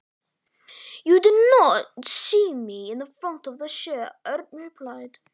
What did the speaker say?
Þú sást mig bara ekki fyrir bolanum, svaraði Örn.